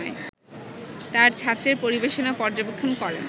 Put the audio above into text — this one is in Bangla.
তার ছাত্রের পরিবেশনা পর্যবেক্ষণ করেন